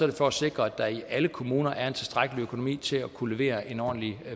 det for at sikre at der i alle kommuner er en tilstrækkelig økonomi til at kunne levere en ordentlig